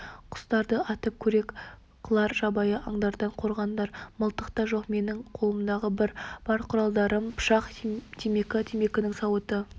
құстарды атып қорек қылар жабайы аңдардан қорғанар мылтық та жоқ менің қолымдағы бар құралдарым пышақ темекі темекінің сауыты